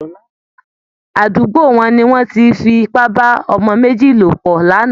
Àdúgbo wọn ni wọ́n ti fi ipá bá ọmọ méjì lò pọ̀ lánàá